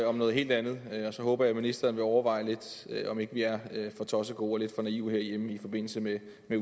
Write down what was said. om noget helt andet og så håber jeg at ministeren vil overveje lidt om ikke vi er for tossegode og lidt for naive herhjemme i forbindelse med